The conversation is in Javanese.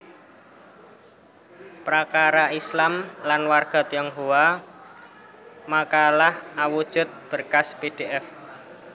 Prakara Islam lan warga Tionghoa makalah awujud berkas pdf